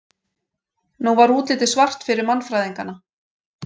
Nú var útlitið svart fyrir mannfræðingana.